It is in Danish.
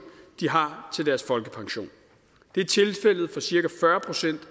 de har til deres folkepension det er tilfældet for cirka fyrre procent